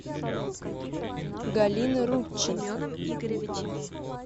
галина рудченко